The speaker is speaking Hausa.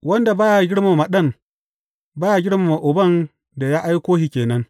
Wanda ba ya girmama Ɗan ba ya girmama Uban, da ya aiko shi ke nan.